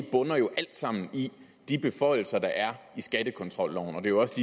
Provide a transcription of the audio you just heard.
bunder jo alt sammen i de beføjelser der er i skattekontrolloven og det er også